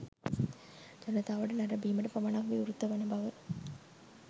ජනතාවට නැරඹීමට පමණක් විවෘත වන බව